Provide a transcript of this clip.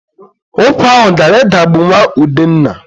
Ụkwa ahụ gara idagbu nwa Udenna.